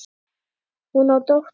Hún á dóttur.